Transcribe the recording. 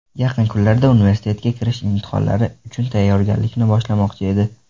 Yaqin kunlarda universitetga kirish imtihonlari uchun tayyorgarlikni boshlamoqchi edi.